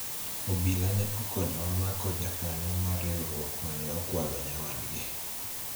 obila ne okonyowa mako jakanyo mar riwruok mane okwalo nyawadgi